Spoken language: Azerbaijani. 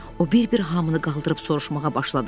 O bir-bir hamını qaldırıb soruşmağa başladı.